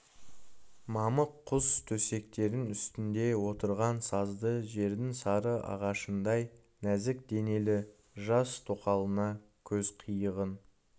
мамық құс төсектің үстінде отырған сазды жердің сары ағашындай нәзік денелі жас тоқалына көз қиығын